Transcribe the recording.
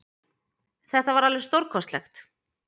Þetta var alveg stórkostlegt